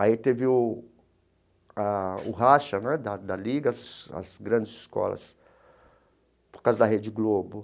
Aí teve o ah o racha né da da Ligas, as grandes escolas, por causa da Rede Globo.